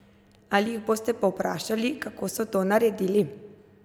Ali jih boste povprašali, kako so to naredili?